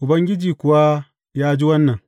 Ubangiji kuwa ya ji wannan.